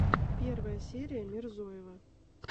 первая серия мирзоева